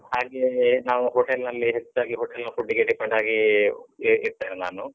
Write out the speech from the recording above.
ಹಾಗೆ ನಾವು hotel ನಲ್ಲೇ ಹೆಚ್ಚಾಗಿ hotel ನ food ಗೆ depend ಆಗಿಯೇ ಇರ್ತೇನೆ ನಾನು.